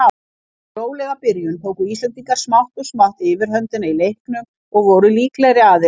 Eftir rólega byrjun tóku Íslendingar smátt og smátt yfirhöndina í leiknum og voru líklegri aðilinn.